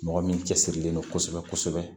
Mɔgɔ min cɛsirilen don kosɛbɛ kosɛbɛ